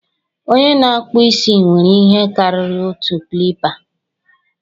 onye na-akpụ isi nwere ihe karịrị otu clipa